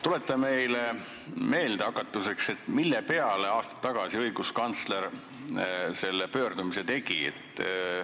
Tuleta meile hakatuseks meelde, mille peale õiguskantsler aasta tagasi selle pöördumise tegi.